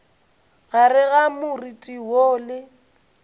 gare ga moriti woo le